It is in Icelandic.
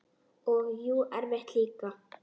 Og jú, erfitt líka.